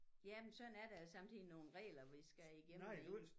Jamen sådan er der samtidig nogle regler vi skal igennem inden